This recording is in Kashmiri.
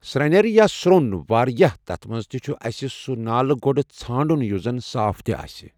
سرینٮ۪ر یا سرٛون واریاہ تَتھ منٛز تہِ چھِ اَسہِ سُہ نالہٕ گۄڈٕ ژھانٛڑُن یُس زَن صاف تہِ آسہ